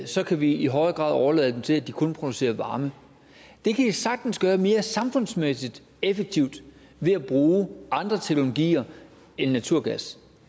så kan vi i højere grad overlade dem til kun at producere varme det kan de sagtens gøre mere samfundsmæssig effektivt ved at bruge andre teknologier end naturgas